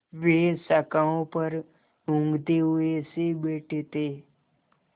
वे शाखाओं पर ऊँघते हुए से बैठे थे